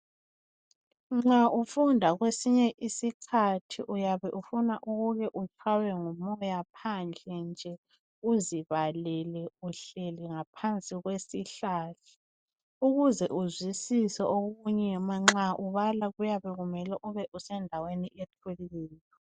Nxa ufunda kwesinye isikhathi uyabe ufuna ukuke utshaywe ngumoya phandle nje uzibalele uhleli ngaphansi kwesihlahla. Ukuze uzwisise okunye manxa ubala kuyabe kumele ube usendaweni ethuleyo.